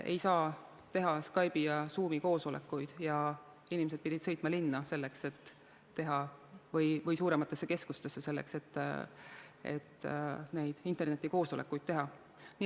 Ei saa teha Skype'i ja Zoomi koosolekuid ja inimesed peavad sõitma linna või suuremasse keskusesse, selleks et internetikoosolekuid teha.